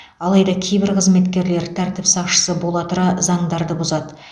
алайда кейбір қызметкерлер тәртіп сақшысы бола тұра заңдарды бұзады